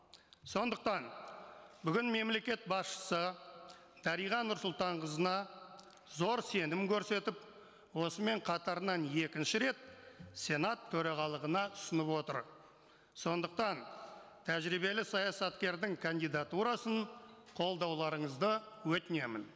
сондықтан бүгін мемлекет басшысы дариға нұрсұлтанқызына зор сенім көрсетіп осымен қатарынан екінші рет сенат төрағалығына ұсынып отыр сондықтан тәжірибелі саясаткердің кандидатурасын қолдауларыңызды өтінемін